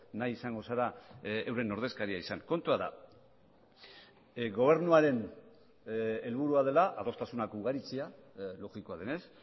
nahi izango zara euren ordezkaria izan kontua da gobernuaren helburua dela adostasunak ugaritzea logikoa denez